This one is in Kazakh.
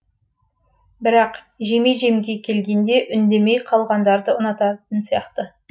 бірақ жеме жемге келгенде үндемей қалғандарды ұнататын сияқты